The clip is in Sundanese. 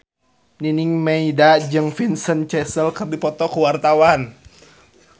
Nining Meida jeung Vincent Cassel keur dipoto ku wartawan